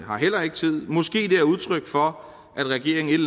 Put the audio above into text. har heller ikke tid og måske er det udtryk for at regeringen et